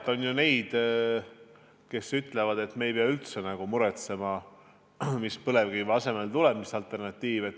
Jah, on ju neid, kes ütlevad, et me ei pea üldse muretsema, mis alternatiiv põlevkivi asemele tuleb.